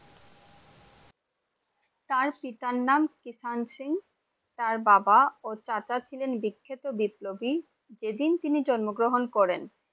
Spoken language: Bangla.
তার পিতার নাম কিষান সিং তার বাবা আর চাচা ছিলেন বিক্ষত বিপ্লবী যে দিন তিনি জন্মগ্রহণ করেন ।